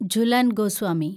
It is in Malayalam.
ജുലൻ ഗോസ്വാമി